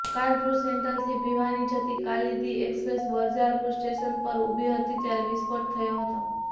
કાનપુર સેન્ટ્રલથી ભિવાની જતી Kalindi express Barrajpur station પર ઉભી હતી ત્યારે વિસ્ફોટ થયો હતો